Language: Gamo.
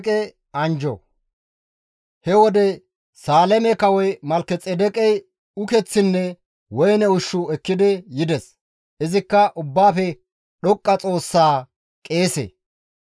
He wode, Saaleme kawoy Malkexeedeqey ukeththinne woyne ushshu ekki yides; izikka Ubbaafe Dhoqqa Xoossaa qeese.